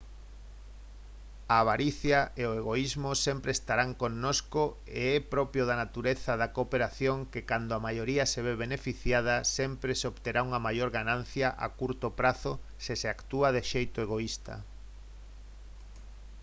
a avaricia e o egoísmo sempre estarán connosco e é propio da natureza da cooperación que cando a maioría se ve beneficiada sempre se obterá unha maior ganancia a curto prazo se se actúa de xeito egoísta